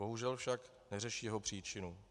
Bohužel však neřeší jeho příčiny.